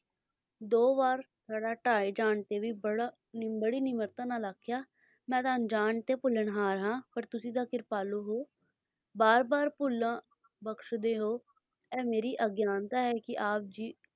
ਦੋ ਵਾਰ ਥੜ੍ਹਾ ਢਾਹੇ ਜਾਣ ਤੇ ਵੀ ਬੜਾ ਬੜੀ ਨਿਮਰਤਾ ਨਾਲ ਆਖਿਆ ਮੈਂ ਅਣਜਾਣ ਤੇ ਭੁੱਲਣਹਾਰ ਆ ਪਰ ਤੁਸੀ ਤਾਂ ਕਿਰਪਾਲੂ ਹੋ ਵਾਰ ਵਾਰ ਭੁੱਲਾਂ ਬਖਸ਼ ਦੇ ਹੋ ਇਹ ਮੇਰੀ ਅਗਿਆਨਤਾ ਹੈ ਕੇ ਆਪ ਜੀ,